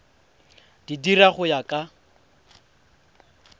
di dira go ya ka